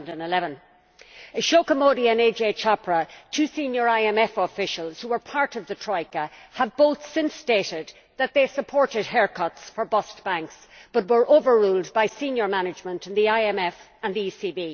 2011? Ashoka Mody and Ajai Chopra, two senior IMF officials who were part of the Troika, have both since stated that they supported haircuts for bust banks, but were overruled by senior management in the IMF and the ECB.